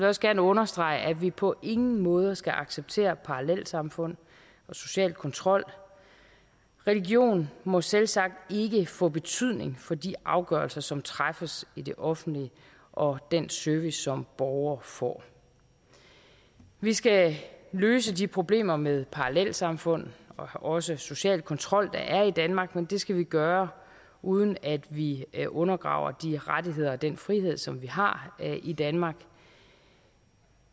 også gerne understrege at vi på ingen måde skal acceptere parallelsamfund og social kontrol religion må selvsagt ikke få betydning for de afgørelser som træffes i det offentlige og den service som borgere får vi skal løse de problemer med parallelsamfund og også social kontrol der er i danmark men det skal vi gøre uden at vi vi undergraver de rettigheder og den frihed som vi har i danmark